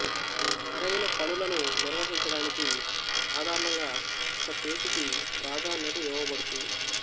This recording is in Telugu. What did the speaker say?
సరైన పనులను నిర్వహించడానికి సాధారణంగా ఒక చేతికి ప్రాధాన్యత ఇవ్వబడుతుంది